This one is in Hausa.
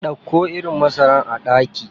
Dauko irin masara a daki.